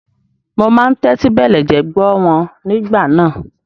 Mo máa ń tẹ́tí bẹ̀lẹ̀jẹ́ gbọ́ wọn nígbà náà.